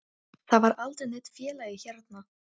Það var aldrei neinn félagi hérna.